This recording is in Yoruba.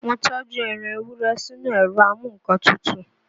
Mo tọ́jú ẹran Ewúrẹ́ sínú ẹ̀rọ a mú nǹkan tutù